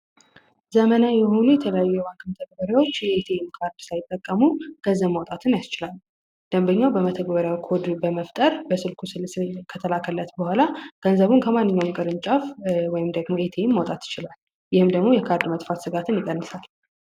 ዘመናዊ የሆኑ የተለዩ የባንክ መተገበሪያዎች ቴም ካርድ ሳይጠቀሙ ገዘም አውጣትን ያስችላል። ደንበኛው በመተግበሪያው ኮድ በመፍጠር በስልኩ ምስል ከተላከለት በኋላ ገንዘቡን ከማንኛው ቅርንጫፍ ወይም ደግሞ ኤቴም ማውጣት ይችላል። ይህም ደግሞ የካርድ መጥፋት ስጋትን ይቀንሳል።